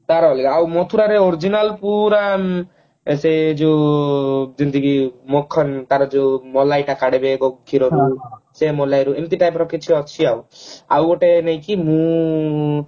ତାର ଅଲଗା ଆଉ ମଥୁରାରେ original ପୁରା ଉଁ ଏ ସେ ଯୋଉ ଯେମତି କି ମଖନ ତାର ଯୋଉ ମଲାଇ ଟା କାଢିବେ କ୍ଷୀର ରୁ ସେ ମଲାଇରେ ଏମତି type ରେ କିଛି ଅଛି ଆଉ ଆଉ ଗୋଟେ ନୁହେଁ କି ମୁଁ